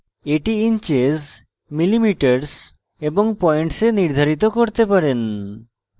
এটি inches millimetres এবং points এ নির্ধারিত করতে পারেন